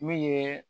Min ye